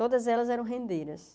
Todas elas eram rendeiras.